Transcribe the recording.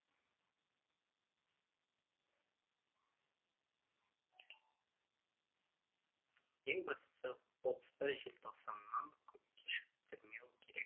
ең бастысы отыз бір желтоқсаннан кешіктірмеу керек